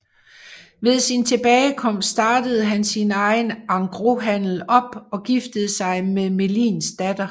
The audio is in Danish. Ved sin tilbagekomst startede han sin egen engroshandel op og giftede sig med Melins datter